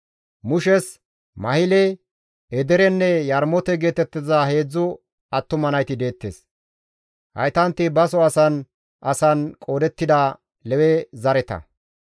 Mushes Mahile, Edeerenne Yarmoote geetettiza heedzdzu attuma nayti deettes. Haytanti baso asan asan qoodettida Lewe zareta.